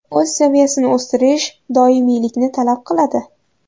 O‘z saviyasini o‘stirish doimiylikni talab qiladi.